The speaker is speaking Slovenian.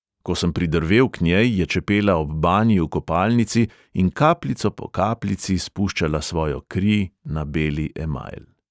Ko sem pridrvel k njej, je čepela ob banji v kopalnici in kapljico po kapljici spuščala svojo kri na beli emajl.